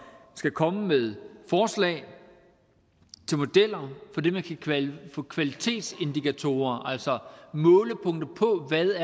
skal komme med forslag til modeller for det man kan kalde for kvalitetsindikatorer altså målepunkter på hvad